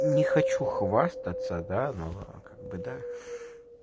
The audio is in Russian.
не хочу хвастаться да но как бы да